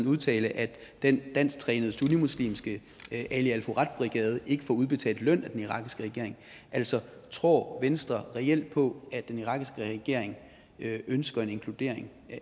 udtale at den dansk trænede sunnimuslimske ali al furat brigade ikke får udbetalt løn af den irakiske regering altså tror venstre reelt på at den irakiske regering ønsker en inkludering